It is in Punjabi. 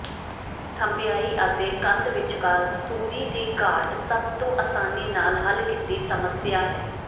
ਥੰਧਿਆਈ ਅਤੇ ਕੰਧ ਵਿਚਕਾਰ ਦੂਰੀ ਦੀ ਘਾਟ ਸਭ ਤੋਂ ਅਸਾਨੀ ਨਾਲ ਹੱਲ ਕੀਤੀ ਸਮੱਸਿਆ ਹੈ